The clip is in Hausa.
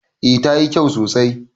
A tayi kyau sosai